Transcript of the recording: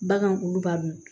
Bagan kuluba dun